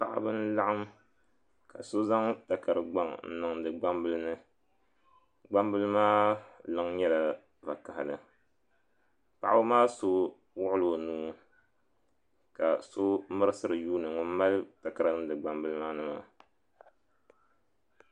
Paɣaba n laɣim ka so zaŋ takari gbaŋ n niŋdi gbambila ni gbambila maa liŋ nyɛla zaɣa vakahali paɣaba maa so wuɣila o nuu ka mirisira n yuuni ŋun mali takara n niŋdi gbambila maa ni maa.